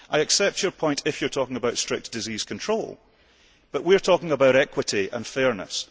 I accept your point if you are talking about strict disease control, but we are talking about equity and fairness.